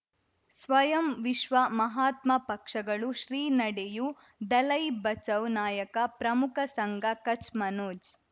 ಸ್ವಯಂ ವಿಶ್ವ ಮಹಾತ್ಮ ಪಕ್ಷಗಳು ಶ್ರೀ ನಡೆಯೂ ದಲೈ ಬಚೌ ನಾಯಕ ಪ್ರಮುಖ ಸಂಘ ಕಚ್ ಮನೋಜ್